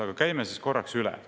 Aga käime korraks üle.